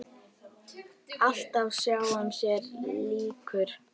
Alltaf sjálfum sér líkur.